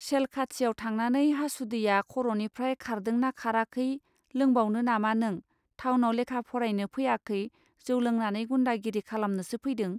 सेल खाथियाव थांनानै हासुदैया खरनिफ्राय खारदोंना खाराखै लोंबावनो नामा नों थावनाव लेखा फरायनो फैयाखै जौ लोंनानै गुन्दागिरि खालामनोसो फैदों.